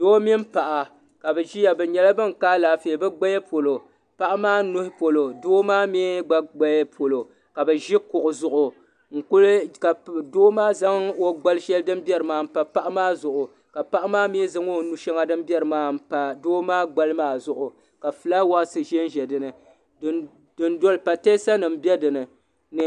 Doo mini paɣa ka bɛ ʒia bɛ nyɛla ban ka alaafee bɛ gbaya polo paɣa maa nuhi polo doo maa gba gbaya polo ka bɛ ʒi kuɣu zuɣu ka.do maa. zaŋ o gbali sheli din biɛri maa mpa paɣa maa zuɣu la paɣa maa gba zaŋ o nu'sheŋɔ din biɛri maa mpa doo maa gbali maa zuɣu ka filaawaasi ʒɛnʒɛ dinni pateesa nima be dinni.